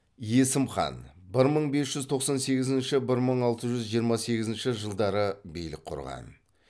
есім хан бір мың бес жүз тоқсан сегізінші бір мың алты жүз жиырма сегізінші жылдары билік құрған